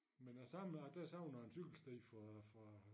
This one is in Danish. Men jeg savner der savner jeg en cykelsti fra fra